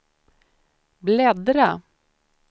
bläddra